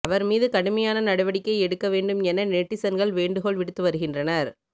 அவர் மீது கடுமையான நடவடிக்கை எடுக்க வேண்டும் என நெட்டிசன்கள் வேண்டுகோள் விடுத்து வருகின்றனர்